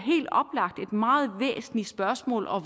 meget væsentligt spørgsmål og